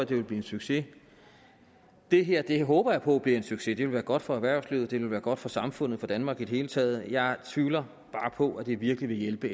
det vil blive en succes det her håber jeg på bliver en succes det ville være godt for erhvervslivet det ville være godt for samfundet og for danmark i det hele taget jeg tvivler bare på at det virkelig vil hjælpe